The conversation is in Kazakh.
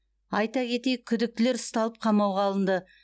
айта кетейік күдіктілер ұсталып қамауға алынды